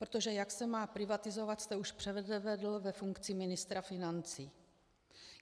Protože jak se má privatizovat, jste už předvedl ve funkci ministra financí.